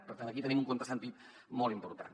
per tant aquí tenim un contrasentit molt important